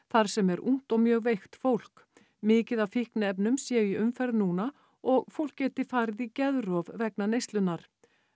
þar sem er ungt og mjög veikt fólk mikið af fíkniefnum séu í umferð núna og fólk geti farið í geðrof vegna neyslunnar